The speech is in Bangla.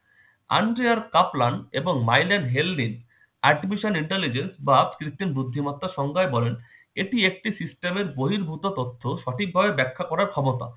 angiyar taplan এবং mailen hengry artificial intelligence বা কৃত্রিম বুদ্ধিমত্তার সংজ্ঞায় বলেন- এটি একটি system বহির্ভূত তথ্য সঠিকভাবে ব্যাখ্যা করার ক্ষমতা।